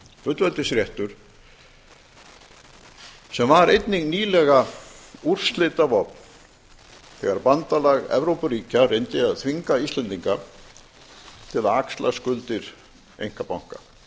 fullveldisréttur sem var einnig nýlega úrslitavopn þegar bandalag evrópuríkja reyndi að þvinga íslendinga til að axla skuldir einkabanka